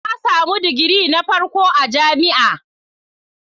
Na samu digiri na farko a jami'a.